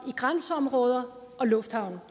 i grænseområder og lufthavne